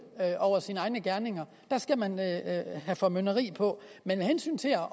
over sine egne gerninger der skal man have formynderi på men med hensyn til at